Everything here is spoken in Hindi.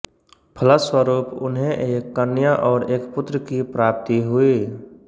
फलस्वरूप उन्हें एक कन्या और एक पुत्र की प्राप्ति हुई